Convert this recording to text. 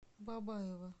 бабаево